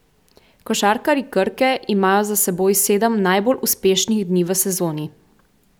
Košarkarji Krke imajo za seboj sedem najbolj uspešnih dni v sezoni.